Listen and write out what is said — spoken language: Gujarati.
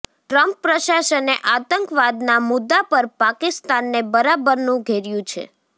ટ્રમ્પ પ્રશાસને આતંકવાદના મુદ્દા પર પાકિસ્તાનને બરાબરનું ઘેર્યું છે